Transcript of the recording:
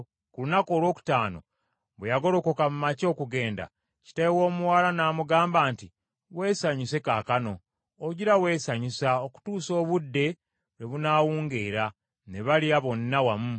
Ku lunaku olwokutaano, bwe yagolokoka mu makya okugenda, kitaawe w’omuwala n’amugamba nti, “Weesanyuse kaakano. Ojjira weesanyusa okutuusa obudde lwe bunaawungeera.” Ne balya bonna wamu.